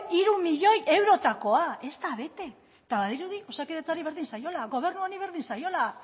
hiru milioi eurotakoa ez da bete eta badirudi osakidetzari berdin zaiola gobernu honi berdin zaiola